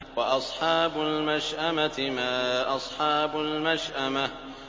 وَأَصْحَابُ الْمَشْأَمَةِ مَا أَصْحَابُ الْمَشْأَمَةِ